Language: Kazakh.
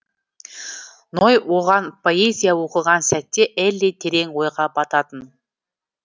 ной оған поэзия оқыған сәтте элли терең ойға бататын